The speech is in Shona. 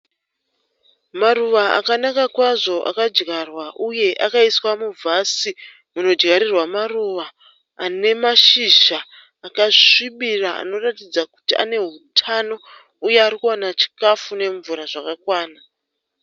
Maruva akanaka kwazvo akadyarwa uye akaiswa muvhasi munodyarirwa maruva ane mashizha akasvibira anoratidza kuti ane hutano uye ari kuwana chikafu nemvura zvakakwana.